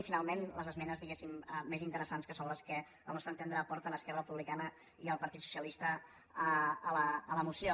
i finalment les esmenes diguem ne més interessants que són les que al nostre entendre aporten esquerra republicana i el partit socialista a la moció